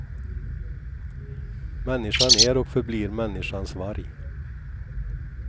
Människan är och förblir människans varg.